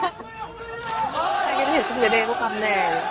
চাগে দেই সিহতৰ বেলেগ একো কাম নাই আৰু